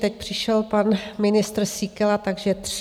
Teď přišel pan ministr Síkela, takže tři.